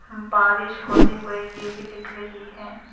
बारिश होते हुए ये भी दिख रही हैं।